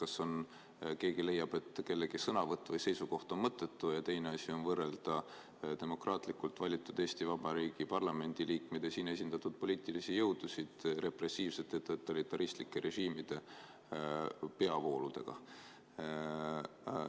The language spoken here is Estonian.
Üks asi on, kas keegi leiab, et kellegi sõnavõtt või seisukoht on mõttetu, ja teine asi on võrrelda demokraatlikult valitud Eesti Vabariigi parlamendi liikmed ja siin esindatud poliitilisi jõudusid repressiivsete totalitaristlike režiimide peavooludega.